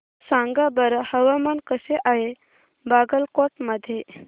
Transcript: सांगा बरं हवामान कसे आहे बागलकोट मध्ये